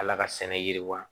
Ala ka sɛnɛ yiriwa